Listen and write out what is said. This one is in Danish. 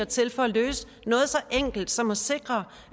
til for at løse noget så enkelt som at sikre